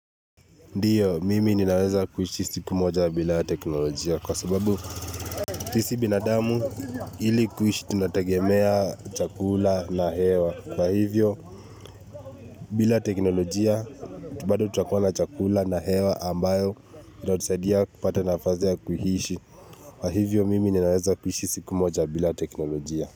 Ndiyo, mimi ninaweza kuishi siku moja bila teknolojia kwa sababu sisi binadamu ili kuishi tunategemea chakula na hewa. Kwa hivyo, bila teknolojia, bado tutakuwa na chakula na hewa ambayo, itatusaidia kupata nafasi ya kuishi. Kwa hivyo, mimi ninaweza kuhishi siku moja bila teknolojia.